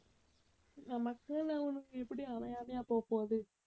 நமக்குன்னு ஒண்ணு எப்பிடியும் அமையாமையா போகப் போகுது.